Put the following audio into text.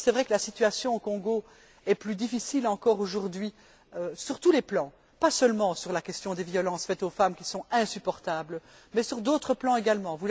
Il est vrai que la situation au Congo est plus difficile encore aujourd'hui sur tous les plans, pas seulement sur la question des violences faites aux femmes, qui sont insupportables, mais sur d'autres plans également.